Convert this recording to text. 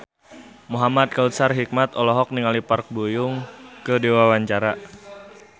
Muhamad Kautsar Hikmat olohok ningali Park Bo Yung keur diwawancara